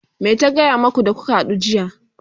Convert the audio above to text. me ta gaya maku da kuka hadu jiya?